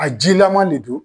A jilaman de don.